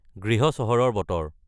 গৃৃহ চহৰৰ বতৰ